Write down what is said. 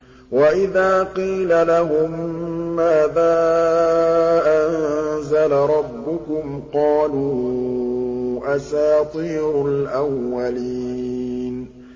وَإِذَا قِيلَ لَهُم مَّاذَا أَنزَلَ رَبُّكُمْ ۙ قَالُوا أَسَاطِيرُ الْأَوَّلِينَ